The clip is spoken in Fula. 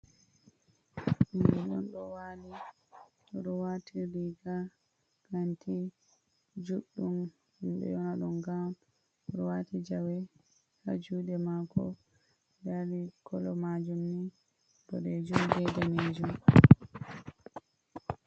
Bingel on ɗo wali ɗon ɗo wati riga kanti juɗɗum minɗo yona ɗum gawn, oɗo wati jawe ha juɗe mako ɗani kolo majum ni ɓoɗejum ɓe ɗanejum.